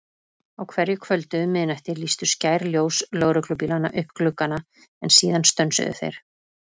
Á hverju kvöldi um miðnætti lýstu skær ljós lögreglubílanna upp gluggana, en síðan stönsuðu þeir.